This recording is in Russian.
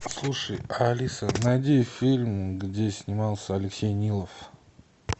слушай алиса найди фильм где снимался алексей нилов